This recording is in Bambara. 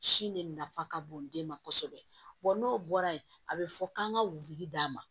Sin de nafa ka bon den ma kosɛbɛ n'o bɔra yen a bɛ fɔ k'an ka wuli d'a ma